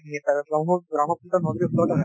আৰু ব্ৰহ্ম ব্ৰহ্মপুত্ৰ নদীৰ ওচৰটো হয়